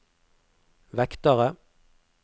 vektere